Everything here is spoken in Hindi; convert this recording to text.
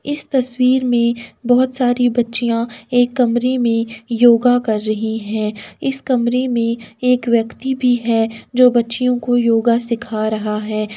इस तस्वीर मे बहोत सारी बच्चिया एक कमरे मे योगा कर रही हैं। इस कमरे मे एक व्यक्ति भी है जो बच्चियों को योगा सीखा रहा है।